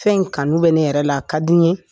Fɛn in kanu bɛ ne yɛrɛ la a ka di n ye